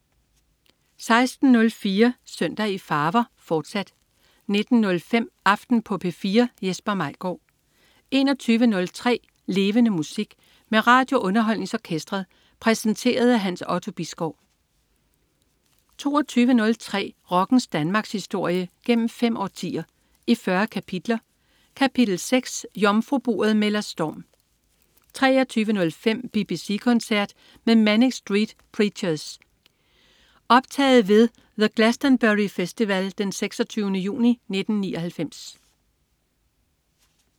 16.04 Søndag i farver, fortsat 19.05 Aften på P4. Jesper Maigaard 21.03 Levende Musik. Med RadioUnderholdningsOrkestret. Præsenteret af Hans Otto Bisgaard 22.03 Rockens Danmarkshistorie, gennem fem årtier, i 40 kapitler. Kapitel 6: Jomfruburet melder storm 23.05 BBC koncert med Manic Street Preachers. Optaget ved The Glastonbury Festival den 26. juni 1999